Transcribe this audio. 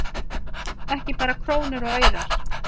Ekki bara krónur og aurar